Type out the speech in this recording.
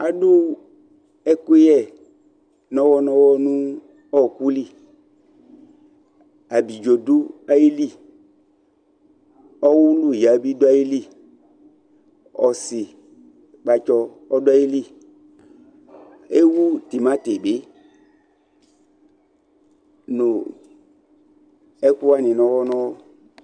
Adu ekuyɛ nɔwɔ nɔwɔ nu ɔwɔku li Ablidzo ɔduayili ɔwulu ya duayili ɔsikpatsu bi duayili , Ewu timati bi ɛku wani nɔwɔ nɔwɔ ,